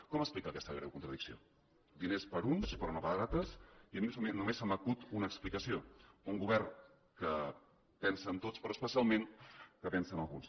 com explica aquesta greu contradicció diners per a uns però no per a altres i a mi només se m’acut una explicació un govern que pensa en tots però especialment que pensa en alguns